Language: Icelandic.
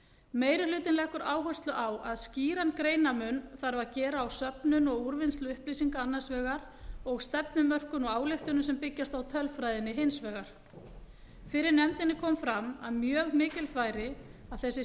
meiri hlutinn leggur áherslu á að skýran greinarmun þarf að gera á söfnun og úrvinnslu upplýsinga annars vegar og stefnumörkun og ályktunum sem byggjast á tölfræðinni hins vegar fyrir nefndinni kom fram að mjög mikilvægt væri að þessi